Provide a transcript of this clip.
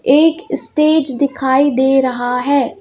एक स्टेज दिखाई दे रहा है.